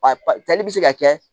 A tali bɛ se ka kɛ